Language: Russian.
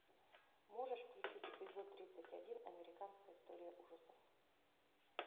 можешь включить эпизод тридцать один американская история ужасов